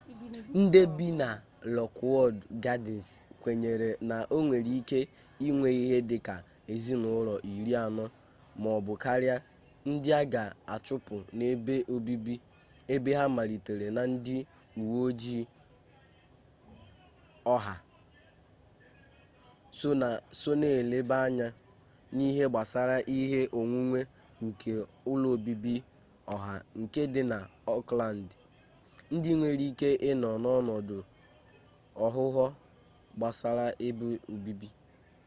ndị bi na lọkwud gadịns kwenyere na ọnwere ike inwe ihe dị ka ezinụlọ iri anọ maọbụ karịa ndị a ga achụpụ n'ebe obibi ebe ha matara na ndị uwe ojii oha so na eleba anya n'ihe gbasara ihe onwunwe nke ụlọ obibi ọha nke di na okland ndị nwere ike ịnọ n'ọnọdụ aghụghọ gbasara ebe obibi